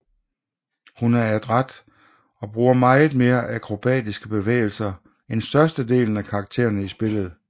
Hun er adræt og bruger meget mere akrobatiske bevægelser end størstedelen af karaktererne i spillet